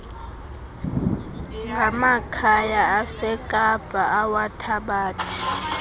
ngamakhaya asekapa awathabathe